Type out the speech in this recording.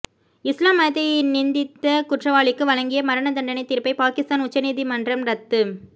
இஸ்லாம் மதத்தை நிந்தித்த குற்றவாளிக்கு வழங்கிய மரண தண்டனை தீர்ப்பை பாகிஸ்தான் உச்சநீதி மன்றம் ரத்துச